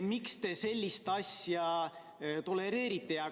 Miks te sellist asja tolereerite?